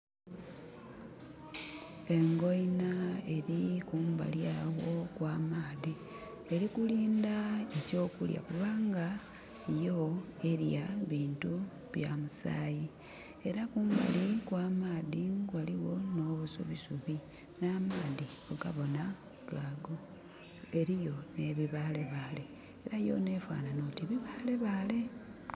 Engoina eli kumbali agho okw'amaadhi. Eli kulinda eky'okulya kubanga yo elya bintu bya musaayi. Era kumbali kw'amaadhi ghaligho nh'obusubisubi. Nh'amaadhi mugabona gaago. Eliyo nh'ebibaalebaale. Era yona efaanhanha oti bibaalebaale.